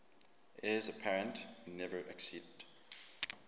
heirs apparent who never acceded